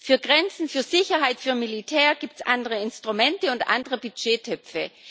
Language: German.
Für Grenzen, für Sicherheit, für Militär gibt es andere Instrumente und andere Budgettöpfe.